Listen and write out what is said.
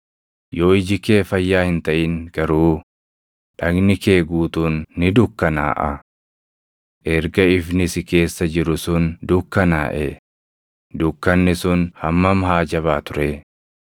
Yoo iji kee fayyaa hin taʼin garuu, dhagni kee guutuun ni dukkanaaʼa. Erga ifni si keessa jiru sun dukkanaaʼee, dukkanni sun hammam haa jabaatu ree!